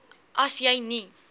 as jy nie